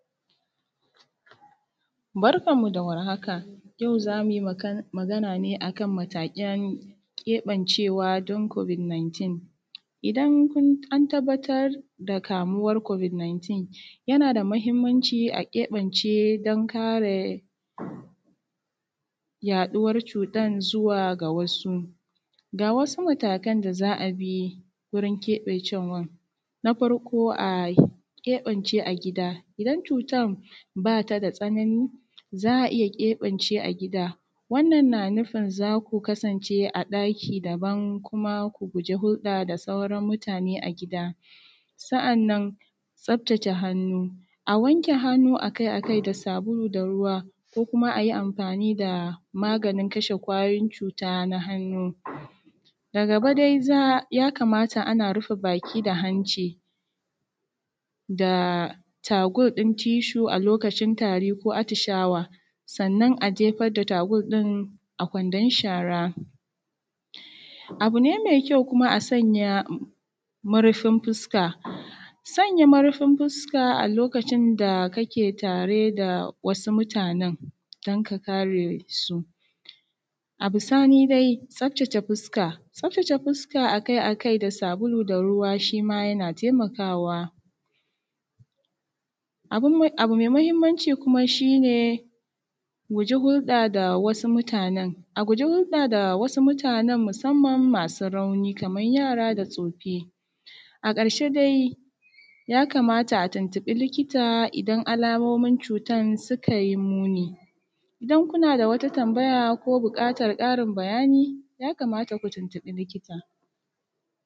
Barkan mu da warahaka yau za mu yi magana ne akan matakan keɓancewa don kobid 19, in kun an tabbatar da kamuwan kobid 19 yana da mahinmanci a ƙebance don kare yaɗuwan cutan zuwa ga wasu. Ga wasu matakan da za a bi wurin keɓancewan na farko a keɓance a gida idan cutan ba ta da tsanani za a iya keɓance a gida, wannan na nufin za ku kasance a ɗaki daban kuma ku guje hurɗa da sauran mutane a gida sa’annan tsaftace hannu akai-akai da sabulu da ruwa ko kuma a yi amfani da magnin kashe kwayoyin cuta na hannu da gaba dai ya kamata ana rufe baki da hanci da takur ɗin tishu a lokacin tari ko atishawa, sannan a jefar da takur ɗin a kwandon shara. Abu ne me kyau a sanya murfin fuska, sanya murfin fuska a lokacin ta kake tari da da wasu mutanen don ka kare su a bisani dai tsaftace fuska, tsaftace fuska akai-akai da sabulu da ruwa shi ma yana taimakawa. Abu me mahinmanci shi ne mu guji hurɗa da wasu mutanen a guji hurɗa da wasu mutanen musamman masu rauni da yara da tsofi. A ƙarshe dai ya kamata a tuntuɓi likita idan alamomin cutan suka yi muni, idan kuna da wata tambaya ko buƙatan ƙarin bayani ya kamata ku tuntuɓi likita.